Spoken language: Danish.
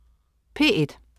P1: